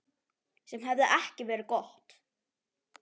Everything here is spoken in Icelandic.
Sem hefði ekki verið gott.